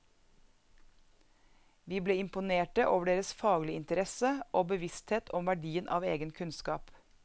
Vi ble imponerte over deres faglige interesse og bevissthet om verdien av egen kunnskap.